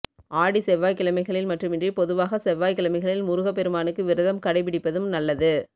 ஆடி செவ்வாய்க்கிழமைகளில் மட்டுமின்றி பொதுவாக செவ்வாய்க்கிழமைகளில் முருகப்பெருமானுக்கு விரதம் கடைபிடிப்பதும் நல்லது